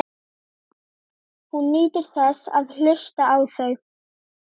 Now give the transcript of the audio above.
Hún nýtur þess að hlusta á þau.